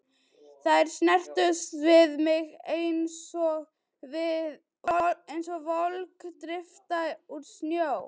Þær snertust við mig einsog volg drífa úr snjó.